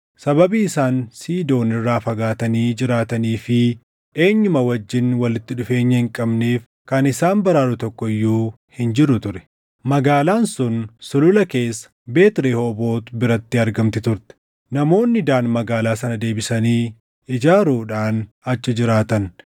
Sababii isaan Siidoon irraa fagaatanii jiraatanii fi eenyuma wajjin walitti dhufeenya hin qabneef kan isaan baraaru tokko iyyuu hin jiru ture. Magaalaan sun sulula keessa Beet Rehooboot biratti argamti turte. Namoonni Daan magaalaa sana deebisanii ijaaruudhaan achi jiraatan.